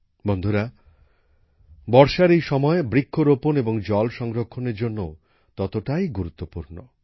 বন্ধুরা বর্ষার এই সময় বৃক্ষরোপণ এবং জল সংরক্ষণের জন্যও ততটাই গুরুত্বপূর্ণ